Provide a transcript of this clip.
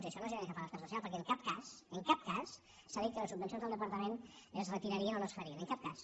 i això no genera cap alarma social perquè en cap cas en cap cas s’ha dit que les subvencions del departament es retirarien o no es farien en cap cas